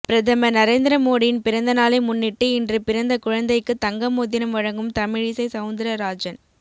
பிரதமர் நரேந்திர மோடியின் பிறந்தநாளை முன்னிட்டு இன்று பிறந்த குழந்தைக்கு தங்க மோதிரம் வழங்கும் தமிழிசை செளந்தரராஜன்